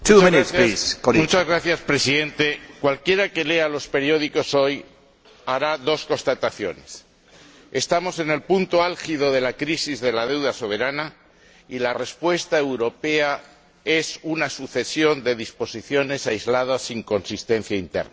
Señor Presidente, cualquiera que lea los periódicos hoy hará dos constataciones estamos en el punto álgido de la crisis de la deuda soberana y la respuesta europea es una sucesión de disposiciones aisladas sin consistencia interna.